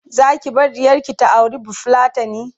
Zaki bar ɗiyarki ta auri bafulatani?